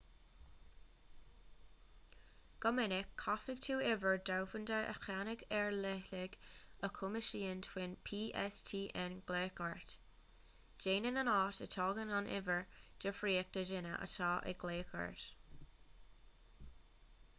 go minic caithfidh tú uimhir dhomhanda a cheannach ar leithligh a chumasaíonn d'fhóin pstn glaoch ort déanann an áit a dtagann an uimhir difríocht do dhaoine atá ag glaoch ort